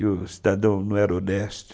E o cidadão não era honesto.